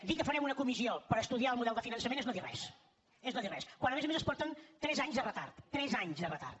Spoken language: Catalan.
dir que farem una comissió per estudiar el model de finançament és no dir res és no dir res quan a més a més es porten tres anys de retard tres anys de retard